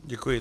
Děkuji.